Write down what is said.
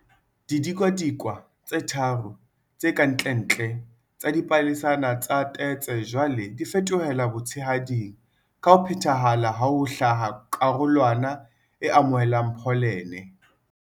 Didikadikwe tse tharo tse ka ntlentle tsa dipalesana tsa tetse jwale di fetohela botshehading ka ho phethahala ha ho hlaha karolwana e amohelang pholene.